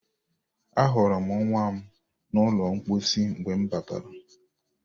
Ahụrụ m nwa m n'ụlọ mposi mgbe m batara